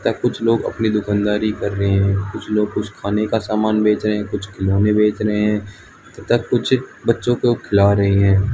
कुछ लोग अपनी दुकानदारी कर रहे हैं कुछ लोग कुछ खाने का सामान बेच रहे हैं कुछ खिलौने बेच रहे हैं तथा कुछ बच्चों को खिला रहे हैं।